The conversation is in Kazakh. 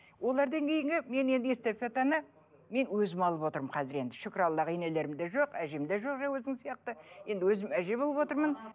олардан кейінгі мен енді мен өзім алып отырмын қазір енді шүкір аллаға енелерім де жоқ әжем де жоқ өзің сияқты енді өзім әже болып отырмын